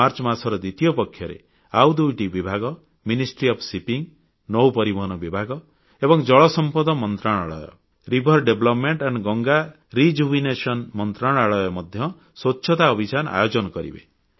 March ମାସର ଦ୍ୱିତୀୟ ପକ୍ଷରେ ଆଉ ଦୁଇଟି ବିଭାଗ ଜାହାଜ ଚଳାଚଳ ମନ୍ତ୍ରଣାଳୟ ଏବଂ ଜଳସମ୍ପଦ ନଦୀ ବିକାଶ ଓ ଗଙ୍ଗା ସଂରକ୍ଷଣ ମନ୍ତ୍ରଣାଳୟ ମଧ୍ୟ ସ୍ୱଚ୍ଛତା ଅଭିଯାନ ଆୟୋଜନ କରିବେ